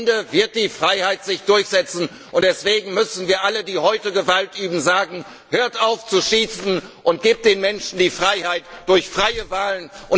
Am Ende wird die Freiheit sich durchsetzen, und deswegen müssen wir allen, die heute Gewalt ausüben, sagen Hört auf zu schießen und gebt den Menschen die Freiheit durch freie Wahlen.